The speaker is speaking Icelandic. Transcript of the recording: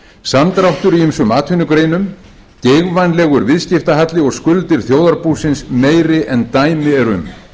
samdráttur í ýmsum atvinnugreinum geigvænlegur viðskiptahalli og skuldir þjóðarbúsins meiri en dæmi eru um